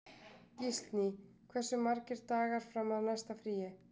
Gíslný, hversu margir dagar fram að næsta fríi?